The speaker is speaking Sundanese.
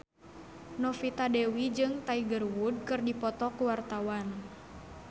Novita Dewi jeung Tiger Wood keur dipoto ku wartawan